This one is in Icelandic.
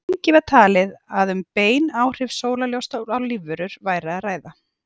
lengi var talið að um bein áhrif sólarljóss á lífverur væri að ræða